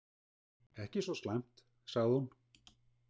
Ekki svo slæmt, sagði hún.